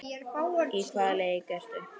Í hvaða leik ertu?